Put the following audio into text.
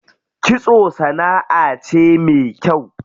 Kitso sanaʼa ce me kyau.